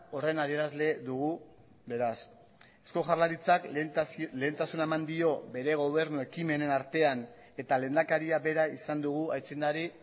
horren adierazle dugu beraz eusko jaurlaritzak lehentasuna eman dio bere gobernu ekimenen artean eta lehendakaria bera izan dugu aitzindari